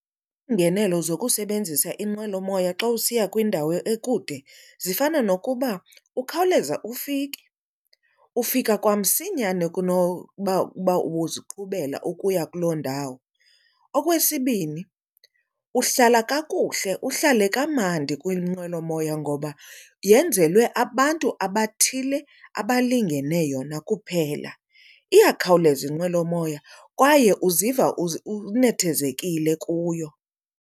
Iingenelo zokusebenzisa inqwelomoya xa usiya kwindawo ekude zifana nokuba ukhawuleza ufike. Ufika kwamsinyane kunokuba ubuziqhubela ukuya kuloo ndawo. Okwesibini, uhlala kakuhle uhlale kamandi kwinqwelomoya ngoba yenzelwe abantu abathile abalingene yona kuphela. Iyakhawuleza inqwelomoya kwaye uziva unethezekile kuyo.